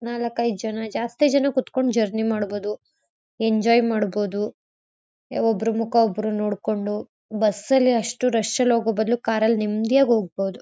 ನಾಲಕ್ ಐದ್ ಜನ ಜಾಸ್ತಿ ಜನ ಕುತ್ಕೊಂಡ್ ಜರ್ನಿ ಮಾಡಬೋದು ಎಂಜಾಯ್ ಮಾಡಬೋದು ಒಬ್ರು ಮುಖ ಒಬ್ರು ನೋಡ್ಕೊಂಡು ಬಸ್ ಅಲ್ ಅಷ್ಟು ರಶ್ ಅಲ್ ಹೋಗೋಬದ್ಲು ಕಾರ್ ಅಲ್ ನೆಂದಿಯಾಗ್ ಹೋಗಬೋದು.